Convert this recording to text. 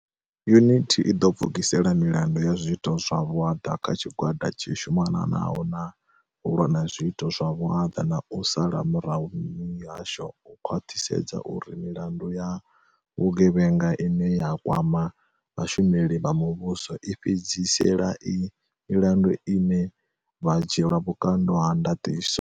Yunithi i ḓo pfukisela milandu ya zwiito zwa vhuaḓa kha tshigwada tshi shumanaho na u lwa na zwiito zwa vhuaḓa na u sala murahu mihasho u khwaṱhisedza uri milandu ya vhu gevhenga ine ya kwama vha shumeli vha muvhuso i fhedzisela i milandu ine vha dzhielwa vhukando ha ndaṱiso.